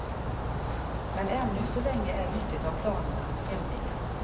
Men ännu så länge är mycket av planerna hemliga.